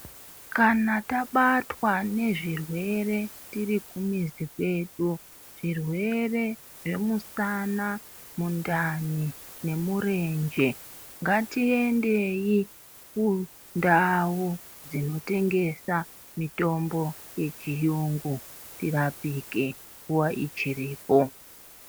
Kana tabatwa nezvirwere tiri kumizi kwedu zvirwere zvemusana, mundani nemurenje. Ngatiendei kundau dzinotengesa mitombo yechiyungu tirapike nguva ichiripo.